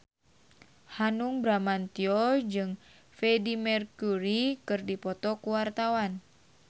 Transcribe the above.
Hanung Bramantyo jeung Freedie Mercury keur dipoto ku wartawan